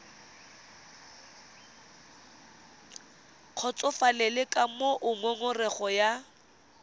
kgotsofalele ka moo ngongorego ya